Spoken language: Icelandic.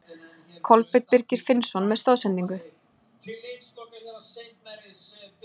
Kolbeinn Birgir Finnsson með stoðsendingu.